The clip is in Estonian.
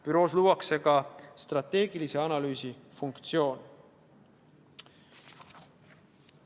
Büroos luuakse ka strateegilise analüüsi funktsioon.